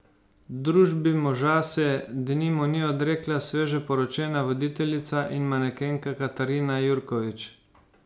Družbi moža se denimo ni odrekla sveže poročena voditeljica in manekenka Katarina Jurkovič.